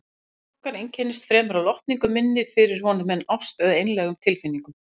Samband okkar einkenndist fremur af lotningu minni fyrir honum en ást eða einlægum tilfinningum.